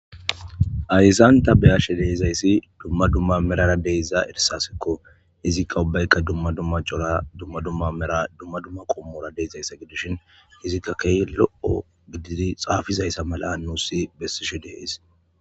Ayzanta beyashe deizayssi dumma dumma merara deyza ersasekko hizikka ubbaykka dumma dumma cora dumma dumma mera dumma dumma qommora deyzayssa gidushin hizikka key lo,o gididi xaafizayssa mala nuussi bessishu deheys.